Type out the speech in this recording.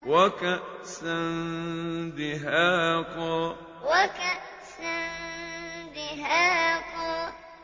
وَكَأْسًا دِهَاقًا وَكَأْسًا دِهَاقًا